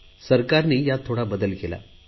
सरकारने त्यात थोडा बदल केला